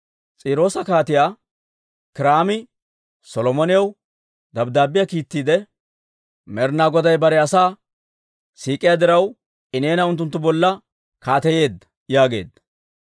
S'iiroosa Kaatiyaa Kiiraami Solomonaw dabddaabbiyaa kiittiide, «Med'inaa Goday bare asaa siik'iyaa diraw, I neena unttunttu bolla kaateyeedda» yaageedda.